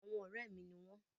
Àwọn ọ̀rẹ́ mi ni wọ́n.